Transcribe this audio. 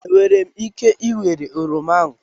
Enwere m ike ịwere oroma a?